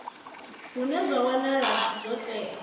hune zwa wanala zwo tea